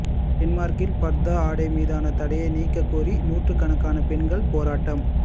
டென்மார்க்கில் பர்தா ஆடை மீதான தடையை நீக்கக் கோரி நூற்றுக்கணக்கான பெண்கள் போராட்டம்